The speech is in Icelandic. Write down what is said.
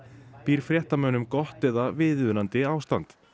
býr fréttamönnum gott eða viðunandi ástand